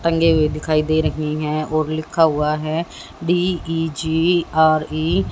टंगे हुए दिखाई दे रही है और लिखा हुआ है D E J R E --